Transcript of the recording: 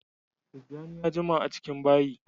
Tijjani ya jima a cikin bayi